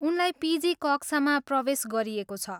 उनलाई पिजी कक्षामा प्रवेश गरिएको छ।